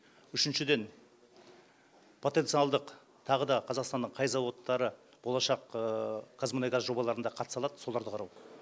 үшіншіден потенциалдық тағы да қазақстанның қай зауыттары болашақ қазмұнайгаз жобаларында қатыса алат соларды қарау